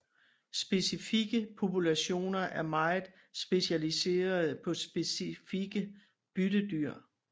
Specifikke populationer er meget specialiserede på specifikke byttedyr